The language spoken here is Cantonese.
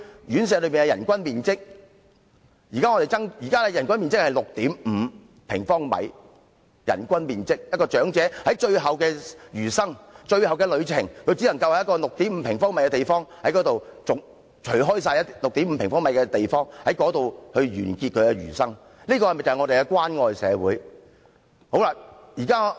現時的人均最低面積是 6.5 平方米，長者的餘生或最後旅程，只能在一個 6.5 平方米的地方度過。這是關愛社會嗎？